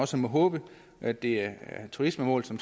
så må håbe at det er turismemål som